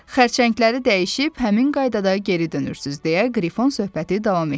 Xərçəngləri dəyişib həmin qaydada geri dönürsüz deyə Qrifon söhbəti davam etdirdi.